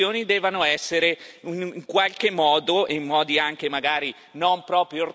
in qualche modo, e in modi anche magari non proprio ortodossi, cambiate.